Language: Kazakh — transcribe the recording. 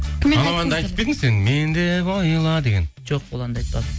анау әнді айтып пе едің сен мен деп ойла деген жоқ ол әнді айтпадым